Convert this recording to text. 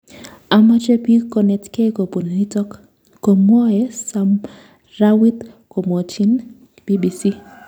"Amoche piil konetkei kopun nitok"Komwoe Samrawit komwochin BBC.